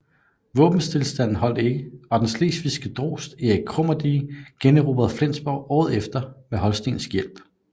Våbenstilstanden holdt ikke og den slesvigske drost Erik Krummedige generobrede Flensborg året efter med holstensk hjælp